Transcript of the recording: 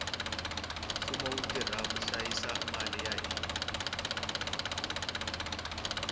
mfumo wu tirha ku hlayisa mali ya hina